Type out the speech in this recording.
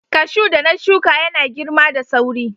Cashew da na shuka yana girma da sauri.